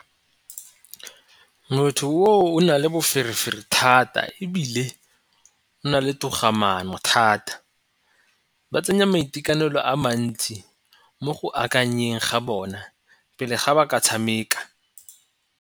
Motho o o na le boferefere thata ebile o na le togamaano thata. Ba tsenya maikaelelo a mantsi mo go akanyeng ga bona pele ga ba ka tshameka.